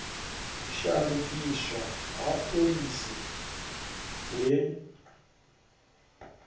u shandukiswa ha phoḽisi he